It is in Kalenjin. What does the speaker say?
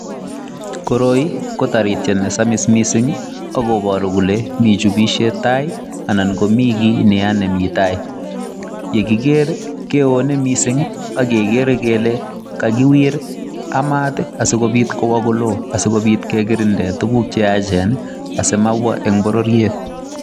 Koroi ko tarityet nesamis mising akoporu kole mi chupishet tai anan komi ki neya nemi tai. Yekiker keone mising akekere kele kakiwir a mat asikobit kowo kolo asikobit kekirinde tuguk cheyachen asomabwa eng bororiet.